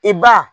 I ba